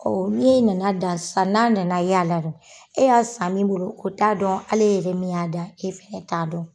ne e nan'a dan sisan n'a nana y'a la dun e y'a san min bolo o t'a dɔn hali e yɛrɛ min y'a dan e fɛnɛ t'a dɔn.